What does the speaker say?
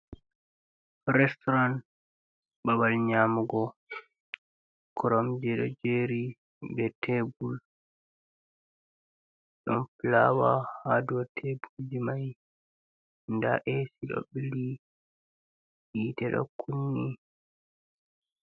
Restauran babal nyamugo, cromje ɗo jeri be tebul ɗon flawa Ha dow tebulli mai, nda esi ɗo bili je tedakkunni.